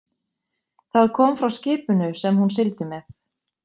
Það kom frá skipinu sem hún sigldi með.